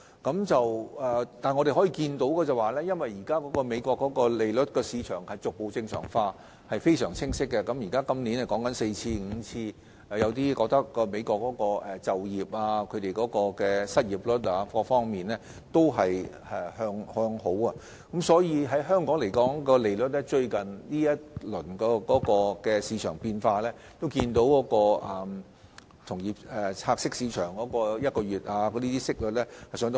不過，我們可以清晰看到，現時美國利率市場逐步正常化，今年已經加息4至5次，亦有意見認為美國的就業率、失業率等各方面正在向好，從香港最近的利率市場變化可見，同業拆息市場的息率急速上升。